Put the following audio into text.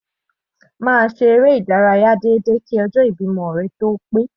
Máa ṣe eré ìdárayá déédéé kí ọjọ́ ìbímọ rẹ tó ó pé.